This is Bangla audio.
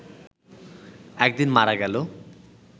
একদিন মারা গেল